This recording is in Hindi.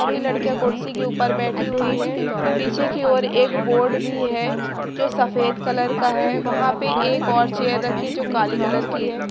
सभी लड़कियां कुर्सी के ऊपर बैठी हुई हैं पीछे की ओर एक बोर्ड भी है जो सफेद कलर का है वहां पे एक और चेयर रखी जो काली कलर की है।